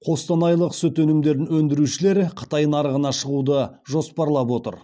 қостанайлық сүт өнімдерін өндірушілер қытай нарығына шығуды жоспарлап отыр